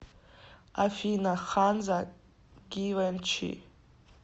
афина ханза гивенчи